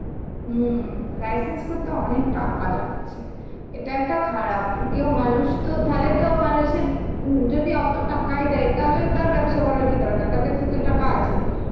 হমম licence করতে অনেক টাকা লাগছে, এটা একটা খারাপ. কেউ মানুষ তো তাহলে তো মানুষের উম যদি অতো টাকাই দেয় তাহলে তার ব্যবসা করার কি দরকার. তার কাছে তো টাকা আছেই.